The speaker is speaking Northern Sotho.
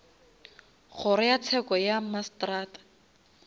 kgoro ya tsheko ya mmasetrata